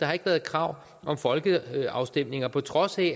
har ikke været krav om folkeafstemninger på trods af